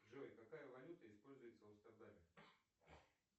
джой какая валюта используется в амстердаме